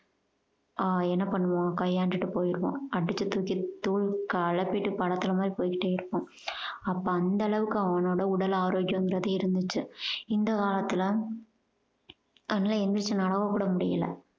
ஆஹ் என்ன பண்ணுவான் கையாண்டுட்டு போயிருவான். அடிச்சு தூக்கி தூள் கிளப்பிட்டு படத்துல மாதிரி போய்க்கிட்டே இருப்பான் அப்ப அந்த அளவுக்கு அவனோட உடல் ஆரோக்கியன்றது இருந்துச்சு. இந்த காலத்துல அதெல்லாம் எழுந்துருச்சு நடக்க கூட முடியல